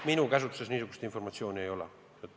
Minu käsutuses niisugust informatsiooni ei ole.